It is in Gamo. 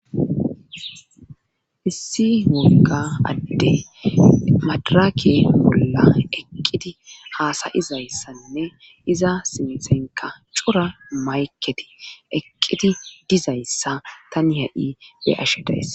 Issi wogga adde madraake bolla eqqiti haasayizayssanne iza simixenka cura mayketi eqqiti dizayssa tani ha'i he ashe daessa.